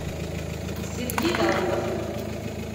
сергей дауров